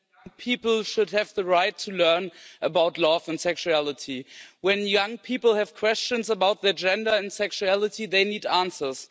Mr President, people should have the right to learn about love and sexuality. When young people have questions about their gender and sexuality, they need answers.